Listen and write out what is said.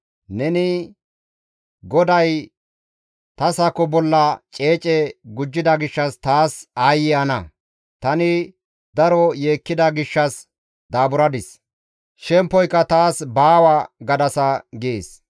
Neni, ‹GODAY ta sako bolla ceece gujjida gishshas taas aayye ana! Tani daro yeekkida gishshas daaburadis; shempoyka taas baawa› gadasa» gees.